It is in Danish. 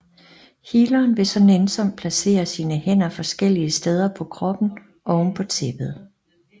Healeren vil så nænsomt placere sine hænder forskellige steder på kroppen oven på tæppet